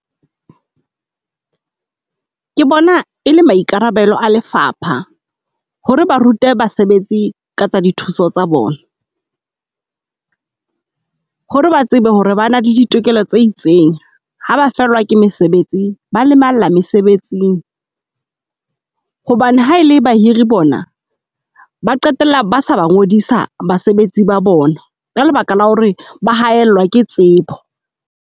Ke bona e le maikarabelo a lefapha hore ba rute basebetsi ka tsa dithuso tsa bona. Hore ba tsebe hore ba na le ditokelo tse itseng. Ha ba fellwa ke mesebetsi, ba lemala mesebetsing hobane ha ele bahiri bona ba qetella ba sa ba ngodisa basebetsi ba bona ka lebaka la hore ba haellwa ke tsebo.